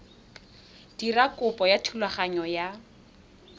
dira kopo ya thulaganyo ya